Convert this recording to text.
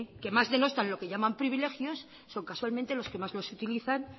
que más denostan lo que llaman privilegios son casualmente los que más los utilizan